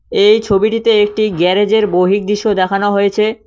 এই ছবিটিতে একটি গ্যারেজের বহির্দৃশ্য দেখানো হয়েছে।